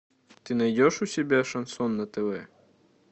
ты найдешь у себя шансон на тв